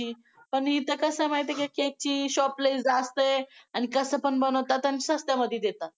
पण इथे कसा आहे माहितीये cake कची लय जास्त आहे आणि कसा पण बनवतात आणि स्वस्तामघ्ये देतात.